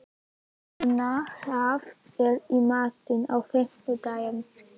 Írena, hvað er í matinn á fimmtudaginn?